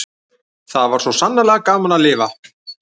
Það var svo sannarlega gaman að lifa!